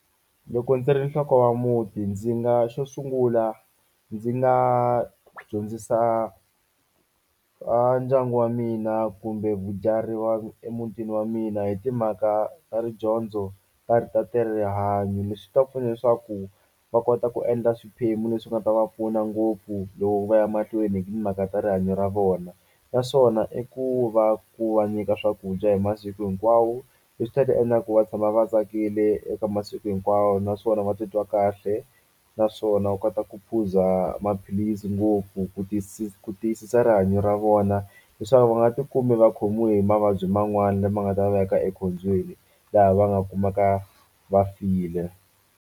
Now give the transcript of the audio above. Loko ndzi ri nhloko ya muti ndzi nga xo sungula ndzi nga dyondzisa a ndyangu wa mina kumbe wa emutini wa mina hi timhaka ta ridyondzo rihanyo leswi swi ta pfuna leswaku va kota ku endla swiphemu leswi nga ta va pfuna ngopfu loko va ya mahlweni hi timhaka ta rihanyo ra vona naswona i ku va ku va nyika swakudya hi masiku hinkwawo leswi ta ti endla ku va tshama va tsakile eka masiku hinkwawo naswona va titwa kahle naswona u kota ku phuza maphilisi ngopfu ku ku tiyisisa rihanyo ra vona leswaku va nga ti kumi va khomiwe hi mavabyi man'wani lama nga ta veka ekhombyeni laha va nga kumaka va file.